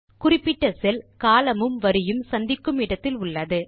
குறிப்பிட்ட செல் columnமும் வரியும் சந்திக்கும் இடத்தில் உள்ளது